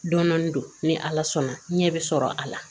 Dɔnni don ni ala sɔnna ɲɛ bi sɔrɔ a la